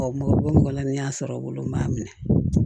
Ɔ mɔgɔ mɔgɔ la ni y'a sɔrɔ olu m'a minɛ